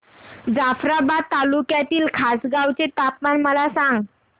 जाफ्राबाद तालुक्यातील खासगांव चे तापमान मला सांग